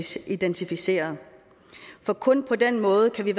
skal identificeres kun på den måde kan